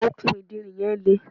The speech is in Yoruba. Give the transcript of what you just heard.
okùn ìderin yìí le